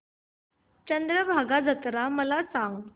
चंद्रभागा जत्रा मला सांग